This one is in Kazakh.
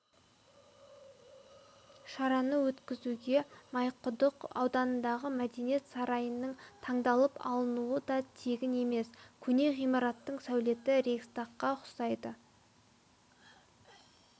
шараны өткізуге майқұдық ауданындағы мәдениет сарайының таңдалып алынуы да тегін емес көне ғимараттың сәулеті рейхстагқа ұқсайды